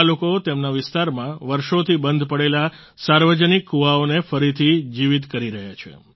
આ લોકો તેમના વિસ્તારમાં વર્ષોથી બંધ પડેલા સાર્વજનિક કૂવાઓને ફરીથી જીવીત કરી રહ્યા છે